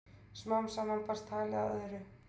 Smám saman barst talið að öðru.